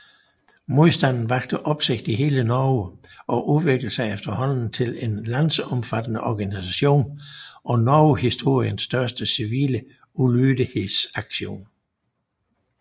Modstanden vakte opsigt i hele Norge og udviklede sig efterhånden til en landsomfattende organisation og Norgeshistoriens største civile ulydighedsaktion